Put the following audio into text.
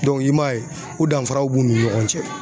i m'a ye o danfaraw b'u ni ɲɔgɔn cɛ